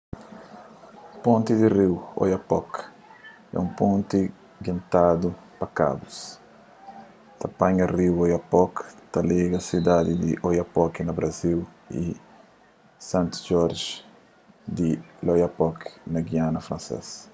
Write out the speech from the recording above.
ponti di riu oyapock é un ponti guentadu pa kabus ta panha riu oyapock pa liga sidadi di oiapoque na brazil y saint-georges di l'oyapock na giana fransês